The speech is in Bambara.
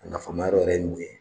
A nafa ma yɔrɔ yɛrɛ ye mun ye?